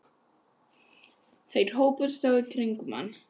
Þær hópuðust þá kringum hann, þessi